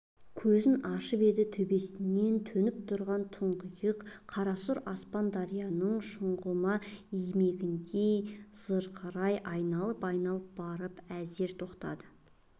көзін ашып еді төбесінен төніп тұрған тұңғиық қарасұр аспан дарияның шұңғыма иіріміндей зырқырай айналып-айналып барып әзер тоқтады